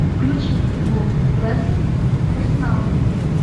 включи футбол лестер с арсеналом